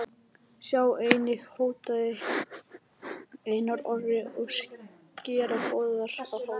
Sjá einnig: Hótaði Einar Orri að skera Böðvar á háls?